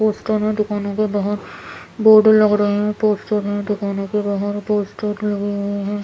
Poster हैं दुकानों के बाहर बोर्ड लग रहे हैं पोस्टर हैं दुकानों के बाहर पोस्टर लगे हुए हैं ।